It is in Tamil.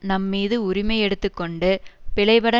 நம்மீது உரிமை எடுத்து கொண்டு பிழைபட